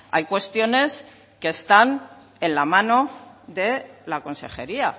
hay cuestiones que están en la mano de la consejería